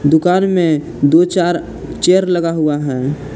दुकान में दो चार चेयर लगा हुआ है।